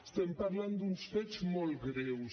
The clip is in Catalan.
estem parlant d’uns fets molt greus